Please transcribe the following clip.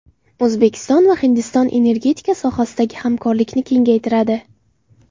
O‘zbekiston va Hindiston energetika sohasidagi hamkorlikni kengaytiradi.